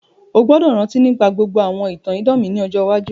O gbọ́dọ̀ rántí nígbà gbogbo àwọn ìtàn idán mi ni ọjọ iwájú.